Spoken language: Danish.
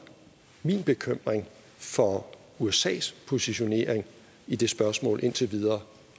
min bekymring for usas positionering i det spørgsmål indtil videre